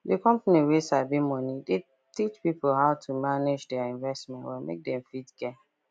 the company wey sabi money dey teach people how to manage their investment well make they fit gain